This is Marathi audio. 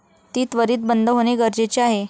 ती त्वरित बंद होणे गरजेचे आहे.